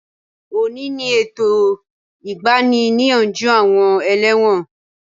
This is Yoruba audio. Òní ni ètò ìgbani-níyànjú àwọn ẹlẹ́wọ̀n